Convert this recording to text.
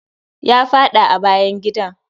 Ya faɗa a bayan gida.